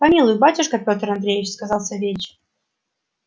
помилуй батюшка пётр андреич сказал савельич